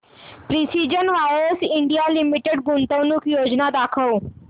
precision wires India limited गुंतवणूक योजना दाखव